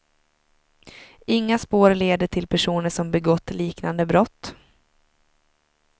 Inga spår leder till personer som begått liknande brott.